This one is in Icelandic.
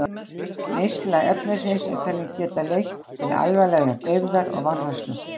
Neysla efnisins er talin geta leitt til alvarlegrar deyfðar og vanrækslu.